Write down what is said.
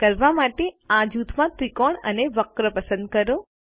આ કરવા માટે આ જૂથમાં ત્રિકોણ અને વક્ર પસંદ કરો